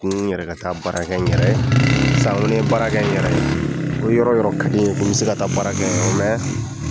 ni n yɛrɛ Ka taa baara kɛ sisan n ko ni ye ko ni yɔrɔ yɔrɔ ka di n ye n bɛ se ka baara kɛ